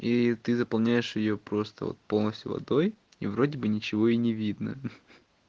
и ты заполняешь её просто вот полностью водой и вроде бы ничего и не видно